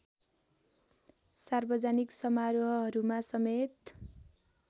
सार्वजनिक समारोहहरूमा समेत